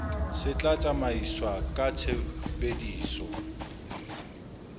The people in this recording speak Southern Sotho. se tla tsamaiswa ka tshebediso